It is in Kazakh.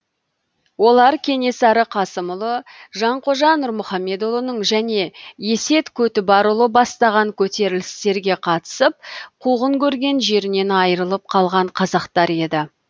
олар кенесары қасымұлы жанқожа нұрмұхамедұлының және есет көтібарұлы бастаған көтерілістерге қатысып қуғын көрген жерінен айрылып қалған қазақтар еді